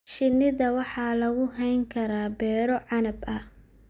Shinida waxaa lagu hayn karaa beero canab ah.